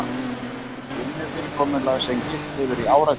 Vinnufyrirkomulag sem gilt hefur í áratugi